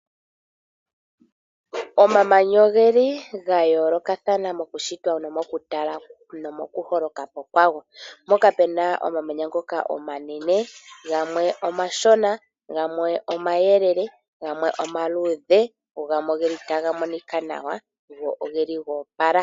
Omamanya ogeli ga yoolokathana moku shitwa nomoku tala nomoku holoka po kwago. Mpoka puna omamanya ngoka omanene gamwe omashona, gamwe omayelele, gamwe omaluudh go gamwe ogeli taga monika nawa go ogeli goopala.